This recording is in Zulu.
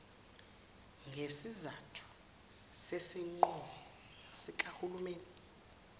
ngesizathu sesinqumo sikahulumeni